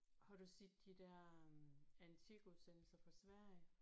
Har du set de der antikudsendelser fra Sverige?